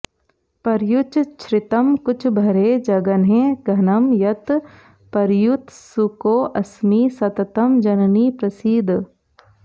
पर्युच् छ्रितं कुचभरे जघने घनं यत् पर्युत्सुकोऽस्मि सततं जननि प्रसीद